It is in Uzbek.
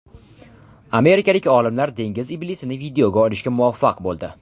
Amerikalik olimlar dengiz iblisini videoga olishga muvaffaq bo‘ldi .